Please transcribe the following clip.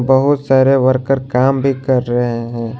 बहोत सारे वर्कर काम भी कर रहे हैं।